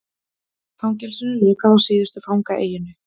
Fangelsinu lokað á síðustu fangaeyjunni